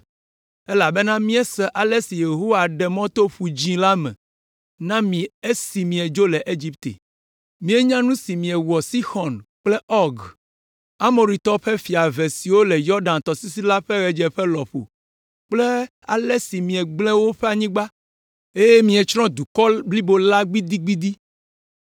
elabena míese ale si Yehowa ɖe mɔ to Ƒu Dzĩ la me na mi esi miedzo le Egipte! Míenya nu si miewɔ Sixɔn kple Ɔg, Amoritɔwo ƒe fia eve siwo le Yɔdan tɔsisi la ƒe ɣedzeƒe lɔƒo kple ale si miegblẽ woƒe anyigba, eye mietsrɔ̃ dukɔ blibo la gbidigbidi.